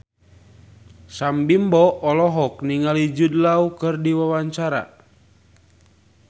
Sam Bimbo olohok ningali Jude Law keur diwawancara